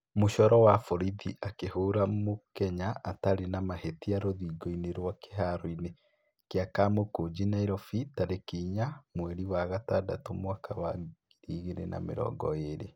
Mũcoro wa borithi akĩhũũra mũkenya atarĩ na mahĩtia rũthingo-inĩ rwa kĩharoinĩ kĩa kamũkũnji Nairobi, tarĩki inyanya mweri wa gatandatũ, mwaka wa ngiri igĩrĩ na mĩrongo ĩrĩ